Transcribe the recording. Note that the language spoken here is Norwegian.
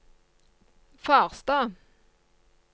Farstad